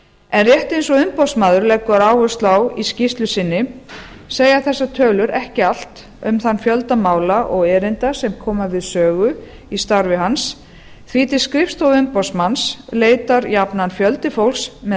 en rétt eins og umboðsmaður leggur áherslu á í skýrslu inni segja þessar tölur ekki allt um þann fjölda mála og erinda sem koma við sögu í starfi hans því til skrifstofu umboðsmanns leitar jafnan fjöldi fólks með